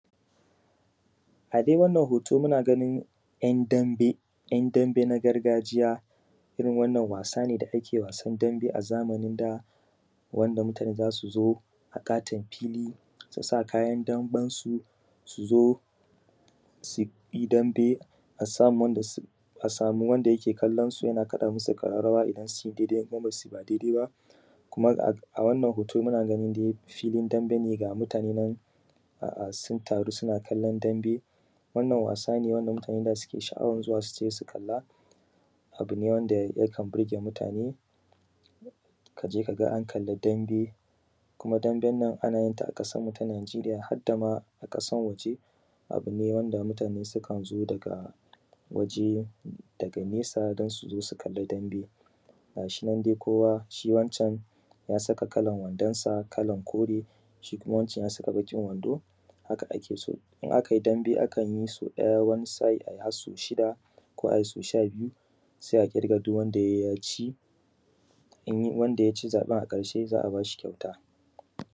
Adai wannan hoto, muna ganin ‘yan dambe. ‘Yan dambe na gargajiya irin wannan wasa ne da ake wasan dambe a zamanin da, wanda mutane za su zo a ƙaton fili, su sa kayan damben su, su zo su yi dambe. A samu mutanen da za su kalle su, a kaɗa musu ƙararawa in sun daidai ko ba daidai ba. Kuma a wannan hoto dai, muna ganin dai filin dambe, ga mutane dai sun taru, suna kallon dambe. Wannan wasa ne wanda mutane suke sha’awan zuwa, su je su kalla. Abu ne wanda ya kan burge mutane ka je ka ga an kalli dambe. Kuma damben ana yin ta a ƙasan mu ta Naijiriya, hadda ma na ƙasan waje. Abu ne wanda mutane su kan zo daga waje, daga nesa, don su zo kalli dambe. Gashi nan dai: kowa, shi wancan ya saka kalan wandonsa kalan kore; shi kuma wancan ya saka baƙin wando. Haka ake so. In aka yin dambe, akan yi so ɗaya; wani sa’i a yi har so shida; ko a yi so shabiyu; sai a ɗirga. Duk wanda ya ci in wanda ya ci zaɓen a ƙarshe, za a ba shi kyauta.